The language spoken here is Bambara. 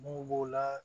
Mun b'o la